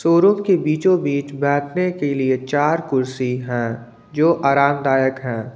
चोरो के बीचों-बीच बैठने के लिए चार कुर्सी हैं जो आरामदायक है।